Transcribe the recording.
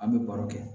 An bɛ baro kɛ